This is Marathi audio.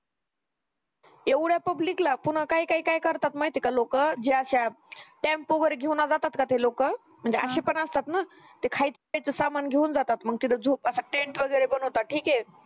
येवढ्या public ला पुन्हा काय काय काय करतात माहितेय का लोक ज्या अश्या टेम्पो वर घेऊन जाताना ते लोक म्हणजे अशी पण असतात ना खायचं प्यायचं सामान घेऊन जातात मंग तिथं झोपणं सा तिथं tent वैगेरे बनवतात ठीके